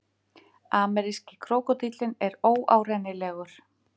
Ameríski krókódíllinn er óárennilegur.